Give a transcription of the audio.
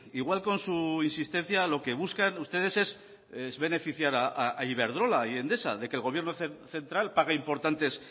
igual con su insistencia lo que buscan ustedes es beneficiar a iberdrola y a endesa de que el gobierno central pague importantes